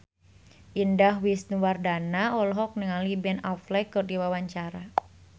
Indah Wisnuwardana olohok ningali Ben Affleck keur diwawancara